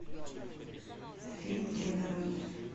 фильм три дороги